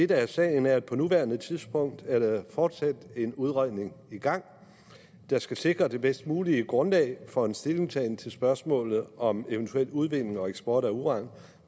der er sagen er at på nuværende tidspunkt er der fortsat en udredning i gang der skal sikre det bedst mulige grundlag for en stillingtagen til spørgsmålet om eventuel udvinding og eksport af uran